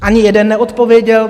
Ani jeden neodpověděl.